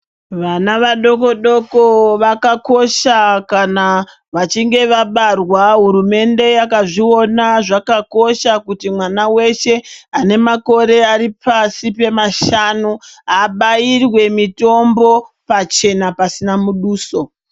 Vana vadoko doko vakakosha kana vachinge vabarwa hurumende yakazviona zvakakosha kuti mwana weshe ane makore ari pashi pemashanu abairwe mitombo pachena pasina muduso.